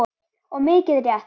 Og mikið rétt.